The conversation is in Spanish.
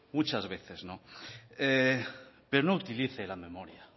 muchas veces pero no utilice la memoria